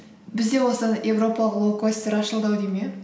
бізде осы европалық лоукостер ашылды ау деймін иә